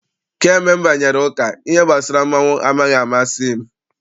Kamgbe m banyere ụka, ihe gbasara mmọnwụ amaghị amasị m.